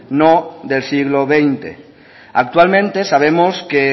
no del siglo veinte actualmente sabemos que